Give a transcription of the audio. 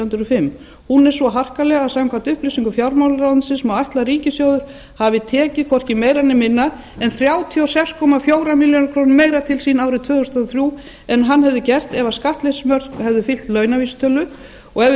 og fimm er svo harkaleg að samkvæmt upplýsingum fjármálaráðuneytisins má ætla að ríkissjóður hafi tekið hvorki meira né minna en þrjátíu og sex komma fjórum milljónum króna meira til sín árið tvö þúsund og þrjú en hann hefði gert ef skattleysismörk hefðu fylgt launavísitölu ef við